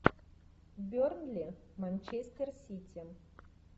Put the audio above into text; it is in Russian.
бернли манчестер сити